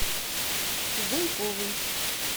зуйковой